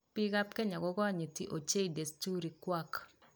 Biikab kenya ko konyiti ochei desturii kwak